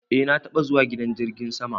Eh na taba zuwa gidan jirgin sama.